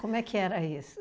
Como é que era isso?